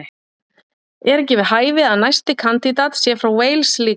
Er ekki við hæfi að næsti kandídat sé frá Wales líka??